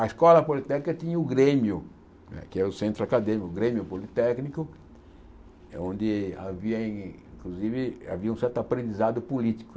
A Escola Politécnica tinha o Grêmio, né que era o centro acadêmico, o Grêmio Politécnico, eh onde havia, inclusive, havia um certo aprendizado político.